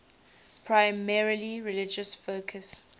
primarily religious focus